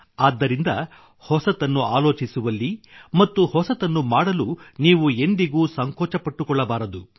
ಆದ್ದರಿಂದ ಹೊಸತನ್ನು ಆಲೋಚಿಸುವಲ್ಲಿ ಮತ್ತು ಹೊಸತನ್ನು ಮಾಡಲು ನೀವು ಎಂದಿಗೂ ಸಂಕೋಚಪಟ್ಟುಕೊಳ್ಳಬಾರದು